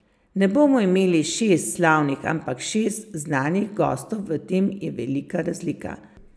Ne bomo imeli šest slavnih, ampak šest znanih gostov, v tem je velika razlika.